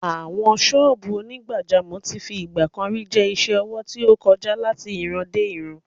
Àwọn sọ́ọ̀bù onígbàjámọ̀ tí fi ìgbà kan rí jẹ́ isẹ́ ọwọ́ tí ó ń kọjá láti ìrandéìran.